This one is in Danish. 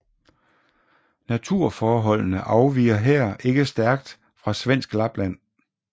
Naturforholdene afviger her ikke stærkt fra svensk Lapland